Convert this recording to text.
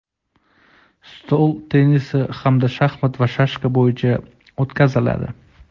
stol tennisi hamda shaxmat va shashka bo‘yicha o‘tkaziladi.